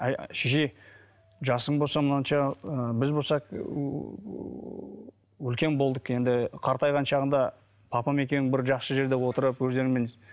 шеше жасың болса мынанша ы біз болса үлкен болдық енді қартайған шағыңда папам екеуің бір жақсы жерде отырып өздеріңмен